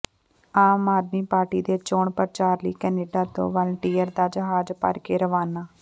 ਆਮ ਆਦਮੀ ਪਾਰਟੀ ਦੇ ਚੋਣ ਪ੍ਰਚਾਰ ਲਈ ਕਨੇਡਾ ਤੋਂ ਵਾਲੰਟੀਅਰਾਂ ਦਾ ਜਹਾਜ਼ ਭਰਕੇ ਰਵਾਨਾ